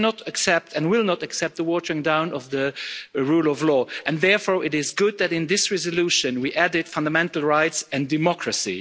We cannot and will not accept the watering down of the rule of law and, therefore, it is good that in this resolution we added fundamental rights and democracy.